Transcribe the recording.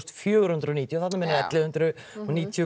fjögur hundruð og níutíu þarna munaði ellefu hundruð níutíu